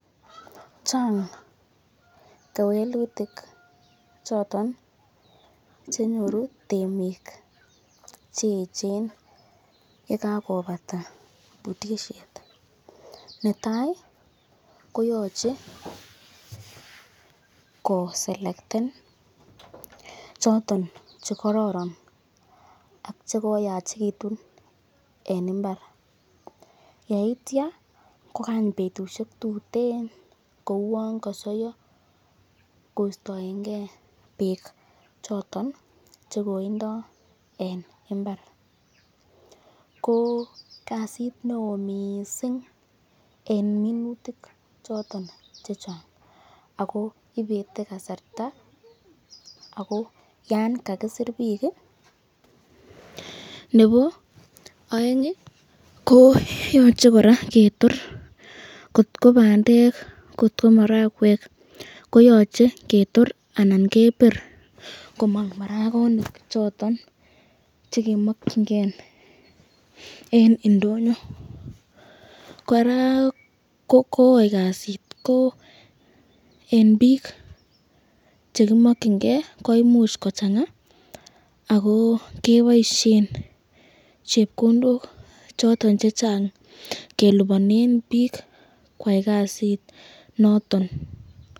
chang kewelutik choton chenyoru temiik cheechen yegagobata butisheet, netai koyoche koselkten choton chegororon ak chegoyachegitun en imbaar, yeityo kogany betushek tutet kouwoon kosoyo koistoengee beek choton chegoindoo en imbaar, ko kasiit neoo mising en minutik choton chechang ago ibete kasarta ago yaan kagisiir biik iih nebo oeng iih koyoche koraa ketoor kot kobandeek kot komarakweek koyoche ketoor anan kebiir komong maragonik choton chegemokyingee en indonyo, koraa kogoii kasit ko en biik chegimokyingee koimuch kochanga agoo keboishen chepkondook choton chechang kelibonen biik kwaai kasiit noton.